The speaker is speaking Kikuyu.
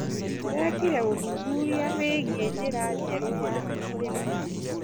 Ndĩrekire ũthuthuria wĩgie njĩra njerũ ya ũrĩmi.